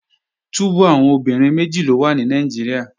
Túbú àwọn obìnrin méjì ló wà ní Nàìjíríà